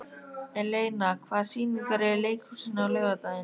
Eleina, hvaða sýningar eru í leikhúsinu á laugardaginn?